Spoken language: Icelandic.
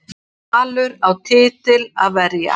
Valur á titil að verja